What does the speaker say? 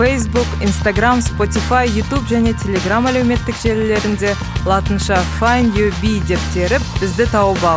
фейсбук инстаграмм спотифай ютуб және телеграмм әлеуметтік желілерінде латынша файнд ю би деп теріп бізді тауып ал